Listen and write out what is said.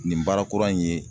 Nin baara kura in ye.